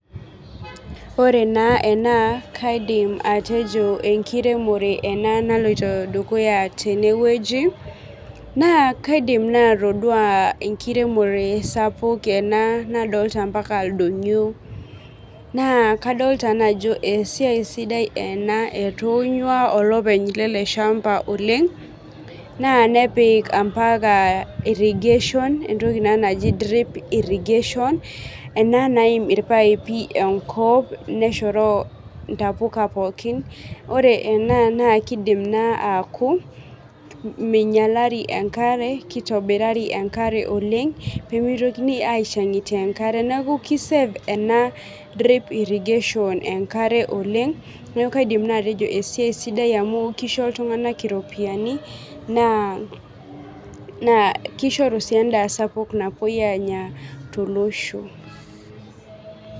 Ore na ena na kaidim atejo enkiremore ena naloito dukuya tenewueji na kaidim atodua enkiremo sapuk nadolta ldonyio nakadolta na ajo esiai sidai ena etonyua olopeny eleshamba na nepik ambaka irrigation entoki naji drip irrigation ena naim irpaipi enkop neshoro ntapuka pookin ore ena naminyali enkare kitobirari enkare Oleng pemeitoki aishangitie enkare ,kisave ena drip irrigation enkare oleng na kaidim na atejo esiai sidai ena na kisho ltunganak orpiyani na kishoru si ni endaa sapuk tolosho.